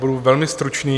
Budu velmi stručný.